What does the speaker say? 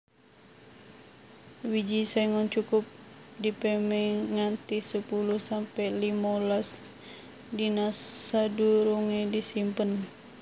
Wiji sengon cukup dipémé nganti sepuluh sampe limolas dina sadurungé disimpen